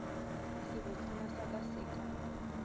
sebotsana sa ka se ka